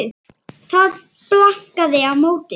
Það var bankað á móti.